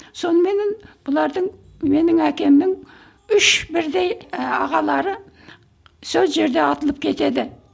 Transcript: соныменен бұлардың менің әкемнің үш бірдей і ағалары сол жерде атылып кетеді